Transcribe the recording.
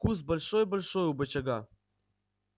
куст большой-большой у бочага